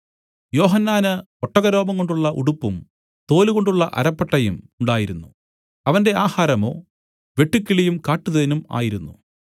യോഹന്നാന് ഒട്ടകരോമംകൊണ്ടുള്ള ഉടുപ്പും തോലുകൊണ്ടുള്ള അരപ്പട്ടയും ഉണ്ടായിരുന്നു അവന്റെ ആഹാരമോ വെട്ടുക്കിളിയും കാട്ടുതേനും ആയിരുന്നു